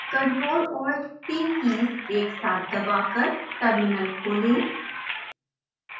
ctrl + alt + t keys एक साथ दबाकर terminal खोलें